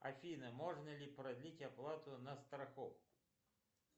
афина можно ли продлить оплату на страховку